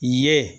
Ye